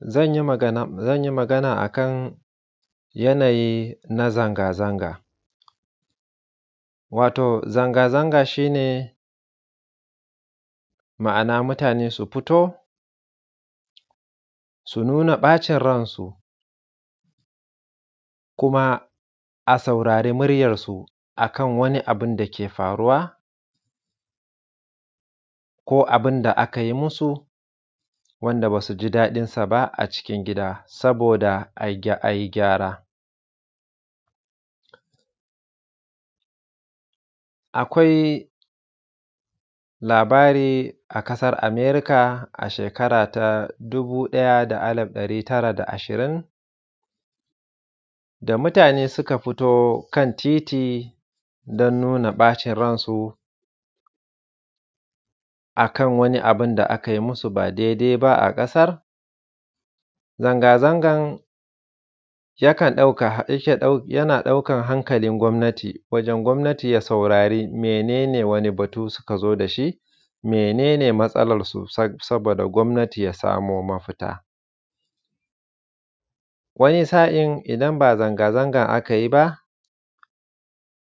Zan yi magana akan yanayi na zanga-zanga, wato zanga-zanga shi ne ma’ana mutane su fito su nuna ɓacin ransu kuma a saurari muryansu a kan wani abun dake faruwa ko abin da aka musu da ba su ji daɗinsa ba cikin gida, saboda a yi gyara. Akwai labari a ƙasar Amerika a shekara ta 1920 da mutane suka fito kan titi don nuna ɓacin ransu a kan wani abu da a kai musu ba daidai ba a ƙasar zanga-zangan yana ɗaukan hankalin gwamnati wajen gwamnati ya saurari wani irin abu suka zo da shi, mene ne matsalansa saboda gwamnati ya samu mafita, wani sa’in idan ba zanga-zangan aka yi ba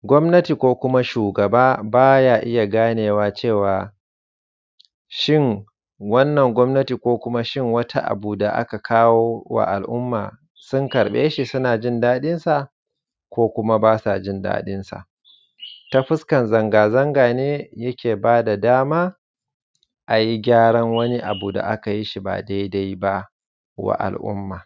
gwamnati ko kuma shugaba baya iya ganewa cewa shin wannan gwamnati ko wani abu ta aka kawa wa al’umma sun karɓe shi, suna jin daɗinsa ko kuma ba sa jin daɗinsa, ta fuskan zanga-zanga ne yake bada dama a yi kyaran wani abu wanda aka yi shi ba daidaiba wa al’umma.